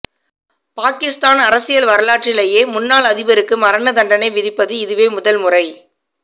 பாக்கிஸ்தான் அரசியல் வரலாற்றிலேயே முன்னாள் அதிபருக்கு மரண தண்டனை விதிப்பது இதுவே முதல்முறை